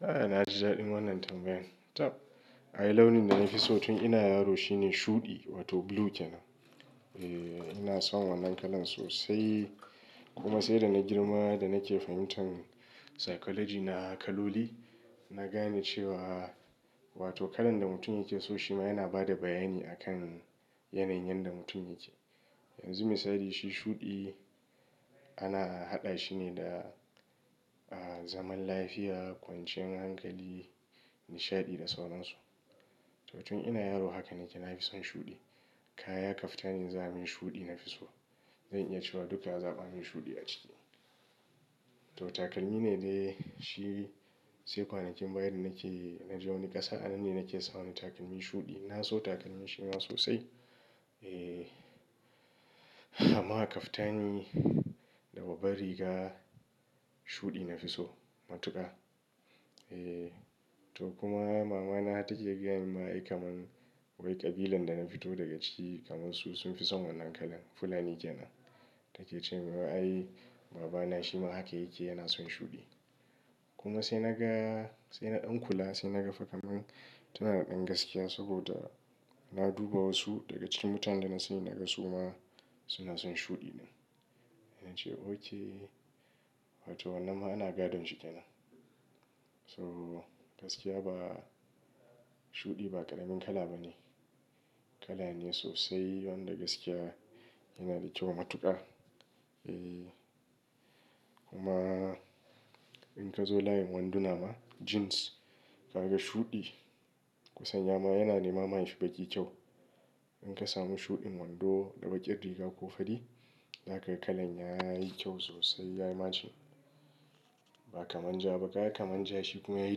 A'a na ji daɗin wannan tambayan. Tab, ayi launin da na fi so tun ina yaro shine shuɗi wato blue kenan. Eeeh ina son wannan kalan sosai. Kuma sai da na girma da nake fahimtan ilimin halin dan adam na kaloli, na gane cewa wato kalan da mutum yake so shi ma yana ba da bayani akan yanayin da mutum yake. Yanzu misali shi shuɗi ana haɗa shi ne da, ah zaman lafiya, kwanciyar hankali, nishaɗi da sauransu. To tun ina yaro haka ne ke na fi son shuɗi. Kaya, kaftani za a min shuɗi nafi so. Zan iya cewa duka a zaba mun shuɗi a ciki. To takalmi ne dai shi sai kwanakin baya da nake, na je wani ƙasa anan ne nake samu takalmi shuɗi. Na so takalmin shi ma sosai. Eeeh, amma haka kaftani da babbar riga shuɗi nafi so matuƙa. Eeh, to kuma mama na take gaya min ma ai kamar wai ƙabilan da na fito daga ci kamar su sun fi son wannan kalan Fulani kenan. Take cewa ai baba na shi ma haka yake yana son shuɗi. Kuma sai naga, sai na ɗan kula sai naga fakaman tana da ɗan gaskiya saboda na duba wasu daga cikin mutanen da na sani naga suma suna son shuɗi ɗin. Na ce oke wato wannan ana gadon shi kenan. So gaskiya ba, shuɗi ba ƙaramin kala bane. Kala ne sosai wanda gaskiya yana da kyau matuƙa. Eeh, kuma in ka zo layin wanduna ma jeans ka yaga shuɗi, kusanya ma yana nema ma shi baƙi kyau. In ka samu shuɗin wando da baƙar riga ko fari, haka kalan yayi kyau sosai yayi macen. Ba kaman ja ba, kaya kaman ja shi kuma yayi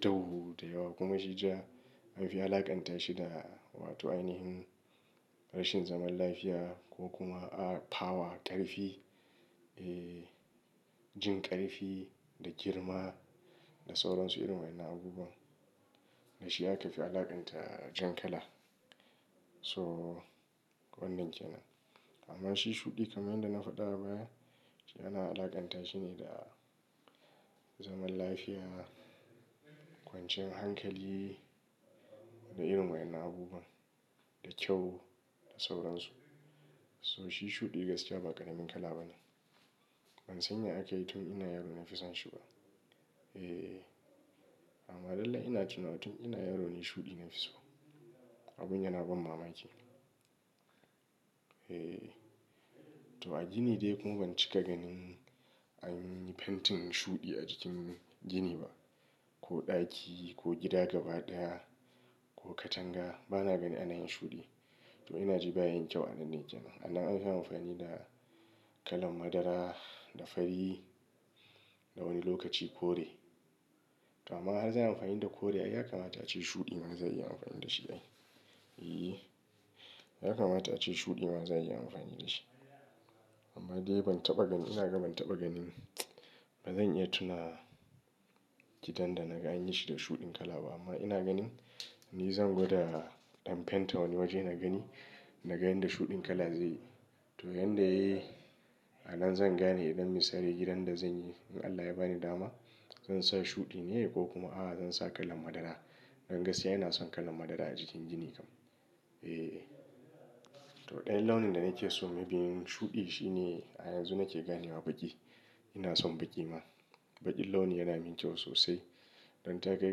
dau da yawa. Kuma shi ja lafiya alaƙanta shi da wato ainihin rashin zaman lafiya ko kuma a power ƙarfi. Eeh, jin ƙarfi da girma da sauransu irin waɗannan abubuwa. Da shi aka fi alaƙanta jan kala. So wannan kenan. Amma shi shuɗi kamar dai na faɗa baya shi ana alaƙanta shi ne da zaman lafiya, kwanciyar hankali da irin waɗannan abubuwa, da kyau da sauran su. So shi shuɗi gaskiya ba ƙaramin kala bane. Man sanya aka yi tun ina yaro na fi son shi ba. Eeh amma dalla ina tuna tun ina yaro ne shuɗi nafi so. Abun yana ba mamaki. Eeh, to a gini dai kuma ban cika ganin an yi fentin shuɗi a cikin gini ba. Ko ɗaki ko gida gaba ɗaya ko katanga bana gani ana yin shuɗi. To ina ji bayi kyau a nan ne kenan. Anan ake amfani da kalan madara da fari da wani lokaci kore. To amma har zan yi amfani da kore, ai ya kamata ace shuɗi ma zan iya amfani da shi ai. Eeh, ya kamata ace shuɗi ma zan iya amfani da shi. Amma dai ban taɓa ganin, ina ga ban taɓa ganin. Ba zan iya tuna gidan da na ga an yi shi da shuɗin kala ba amma ina ganin ni zan gwada in fenta wani waje na gani. Na gani da shuɗin kala zai yi. To yanda yayi, anan zan gane idan misali gidan da zan yi in Allah ya bani dama, zan sa shuɗi ne ko kuma a zan sa kalan madara. Don gaskiya ina son kalan madara a cikin gini kam. Eeh, to ɗayan launin da nake so maybe shuɗi shi ne a yanzu nake ganewa baƙi. Ina son baƙi ma. Baƙin launi yana min kyau sosai. Don takai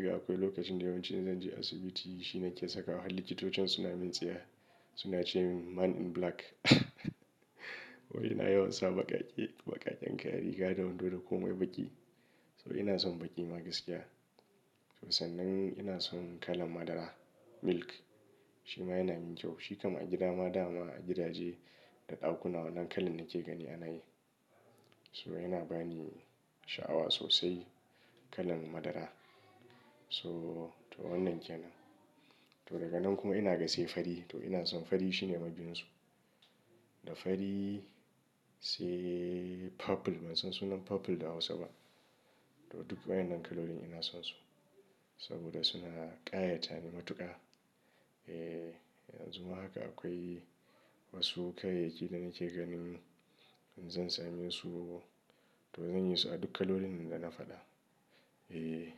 ga akwai lokacin da yawanci in zan je asibiti shi ne nake saka. Har likitocin suna min tsaye suna cewa "Man in black" wai ina yawan sa baƙaƙe, baƙaƙen kayayyaki, gado, wando da komai baƙi. So ina son baƙi ma gaskiya. To sannan ina son kalan madara milk. Shi ma yana min kyau. Shi kamar a gidama dama, a gidaje da ɗakuna wannan kalan nake gani ana yi. So yana ba ni sha'awa sosai kalan madara. So to wannan kenan. To daga nan kuma ina ga sai fari. To ina son fari shi ne mabiyin su. Da fari sai purple ban san sunan purple da Hausa ba. To duk waɗannan kalolin ina son su. Saboda suna ƙayata ni matuƙa. Eeh, yanzu ma haka akwai wasu kayayyaki da nake ganin in zan same su to zan yi su a duk kalolin da na faɗa. Eeh.